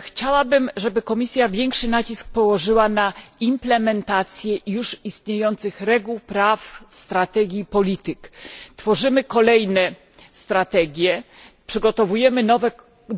chciałabym, żeby Komisja większy nacisk położyła na implementację już istniejących reguł, praw, strategii i polityk. Tworzymy kolejne strategie, przygotowujemy nowe dokumenty,